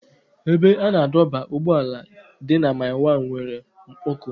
Ebe a na-adọba ụgbọala dị na mile 1 nwere mkpọkọ.